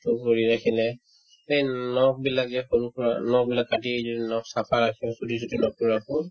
কৰি ৰাখিলে সেই নখবিলাক যে সৰুসুৰা নখবিলাক কাটি যদি নখ চাফা ৰাখো চুলি যদি নকৈ ৰাখো